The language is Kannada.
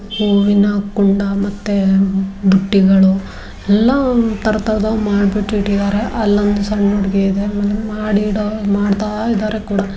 ಹೂವಿನ ಕುಂಡ ಮತ್ತು ಬುಟ್ಟಿಗಳು ಎಲ್ಲಾ ತರ ತರದ ಮಾಡ್ಬಿಟ್ ಇಟ್ಟಿದ್ದಾರೆ ಅಲ್ಲೊಂದು ಸಣ್ಣ ಹುಡುಗಿ ಇದೆ ಮಾಡಿ ಇಡೋರು ಮಾಡ್ತಾ ಇದ್ದಾರೆ ಕೂಡಾ.